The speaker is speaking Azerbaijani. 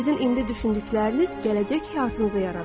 Sizin indi düşündükləriniz gələcək həyatınızı yaradır.